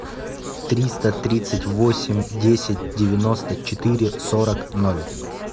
триста тридцать восемь десять девяносто четыре сорок ноль